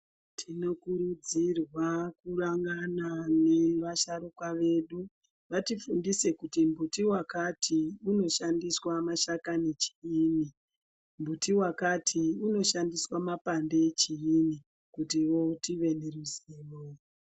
Tinokurudzirwa kurangana nevasharukwa vedu vatifundise kuti mbuti wakati inoshandiswa mashajani chiinyi , muti wakati inoshandiswa mapande echiinyi kutivo tive neruzivo